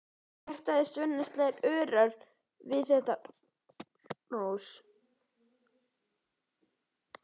Hjartað í Svenna slær örar við þetta hrós.